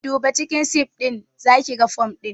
Duba cikin sif ɗinnan zakiga fom ɗin